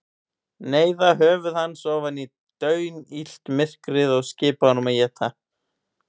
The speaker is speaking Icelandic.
Neyða höfuð hans ofan í daunillt myrkrið og skipa honum að éta.